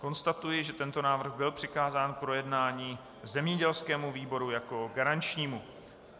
Konstatuji, že tento návrh byl přikázán k projednání zemědělskému výboru jako garančnímu.